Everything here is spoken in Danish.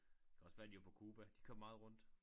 Kan også være de var på Cuba de kom meget rundt